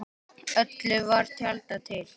Öllu var tjaldað til.